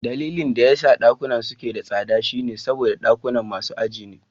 Dalilin da yasa dakunan suke da tsada shine saboda dakunan masu aji ne.